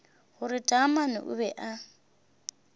gore taamane o be a